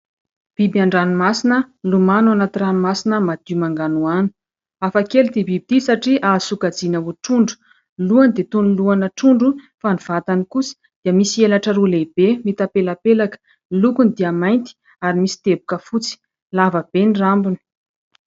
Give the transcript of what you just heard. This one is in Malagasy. Biby an-dranomasina milomano ao anaty ranomasina madio manganohano. Hafakely ity biby satria azo sokajiana ho trondro. Ny lohany dia toy ny loha ana trondro fa ny vatany kosa dia misy elatra roa lehibe mitapelapelaka. Ny lokony dia mainty ary misy teboka fotsy. Lava be ny rambony.